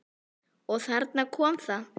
Og þarna kom það.